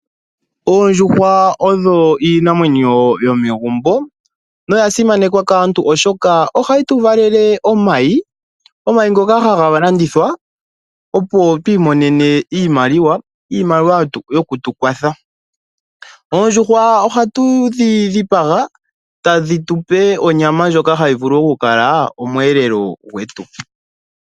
Oondjuhwa odho iinamwenyo yomegumbo. Nodha simana molwashoka ohadhi tu valele omayi, ngono ha ga landithwa opo twi monene iimaliwa yo ku tu kwatha, oshowo ohadhi tupe omwelelo.